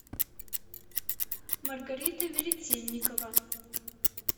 маргарита веретенникова